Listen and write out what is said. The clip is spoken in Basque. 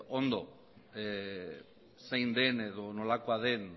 ondo zein den edo nolako den